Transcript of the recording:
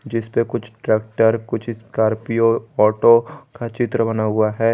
जिसपे कुछ ट्रैक्टर कुछ स्कॉर्पियो ऑटो का चित्र बना हुआ है।